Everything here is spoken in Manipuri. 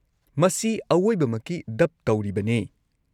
ꯃꯁꯤ ꯑꯋꯣꯏꯕꯃꯛꯀꯤ ꯗꯕ ꯇꯧꯔꯤꯕꯅꯦ꯫